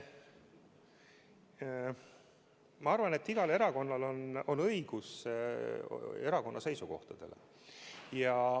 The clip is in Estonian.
Ma arvan, et igal erakonnal on õigus erakonna seisukohtadele.